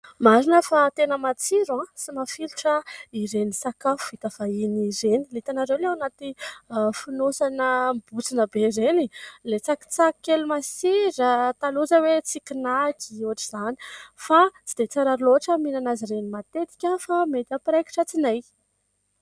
Marina fa tena matsiro sy mafilotra ireny sakafo vita vahiny ireny, hitanareo ilay ao anaty fonosana mibontsina be ireny ? Ilay tsakitsaky kely masira, taloha izao hoe "tsiky nacks" na ohatr'izany, fa tsy dia tsara loatra mihinana azy ireny matetika fa mety hampiraikitra tsinay.